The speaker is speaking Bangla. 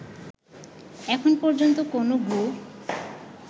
এখন পর্যন্ত কোনো গ্রুপ